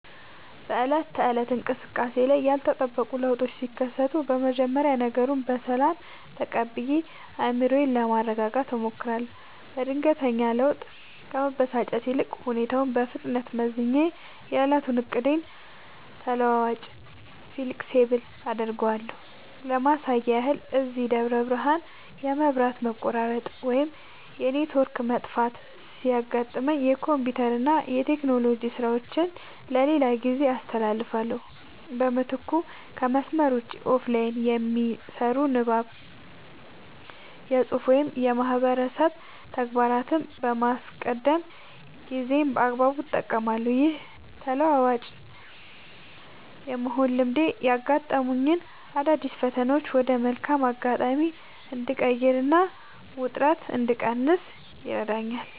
በዕለት ተዕለት እንቅስቃሴዬ ላይ ያልተጠበቁ ለውጦች ሲከሰቱ፣ መጀመሪያ ነገሩን በሰላም ተቀብዬ አእምሮዬን ለማረጋጋት እሞክራለሁ። በድንገተኛ ለውጥ ከመበሳጨት ይልቅ፣ ሁኔታውን በፍጥነት መዝኜ የዕለቱን ዕቅዴን ተለዋዋጭ (Flexible) አደርገዋለሁ። ለማሳያ ያህል፣ እዚህ ደብረ ብርሃን የመብራት መቆራረጥ ወይም የኔትወርክ መጥፋት ሲያጋጥመኝ፣ የኮምፒውተርና የቴክኖሎጂ ሥራዎቼን ለሌላ ጊዜ አስተላልፋለሁ። በምትኩ ከመስመር ውጭ (Offline) የሚሰሩ የንባብ፣ የፅሁፍ ወይም የማህበረሰብ ተግባራትን በማስቀደም ጊዜዬን በአግባቡ እጠቀማለሁ። ይህ ተለዋዋጭ የመሆን ልማዴ ያጋጠሙኝን አዳዲስ ፈተናዎች ወደ መልካም አጋጣሚ እንድቀይርና ውጥረት እንድቀንስ ይረዳኛል።